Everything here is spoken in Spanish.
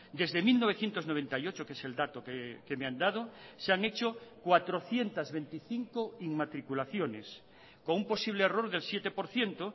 desde mil novecientos noventa y ocho que es el dato que me han dado se han hecho cuatrocientos veinticinco inmatriculaciones con un posible error del siete por ciento